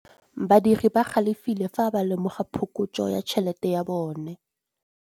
Badiri ba galefile fa ba lemoga phokotsô ya tšhelête ya bone.